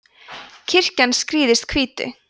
kirkjan skrýðist hvítu